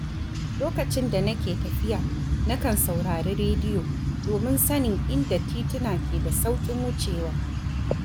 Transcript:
Lokacin da nake tafiya, nakan saurari rediyo domin sanin inda tituna ke da sauƙin wucewa.